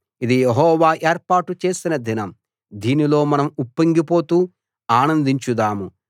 ఇది యెహోవా ఏర్పాటు చేసిన దినం దీనిలో మనం ఉప్పొంగిపోతూ ఆనందించుదాము